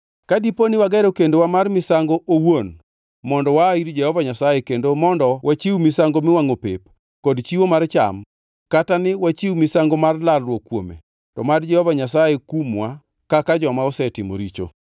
Ka dipo ni wagero kendowa mar misango owuon mondo waa ir Jehova Nyasaye kendo mondo wachiw misango miwangʼo pep kod chiwo mar cham, kata ni wachiw misango mar lalruok kuome, to mad Jehova Nyasaye kumwa kaka joma osetimo richo.